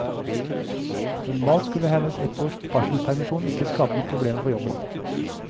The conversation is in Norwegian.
Normalt skulle hennes ett års barselspermisjon ikke skape noen problemer for jobben.